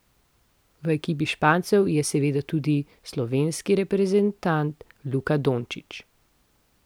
V ekipi Špancev je seveda tudi slovenski reprezentant Luka Dončić.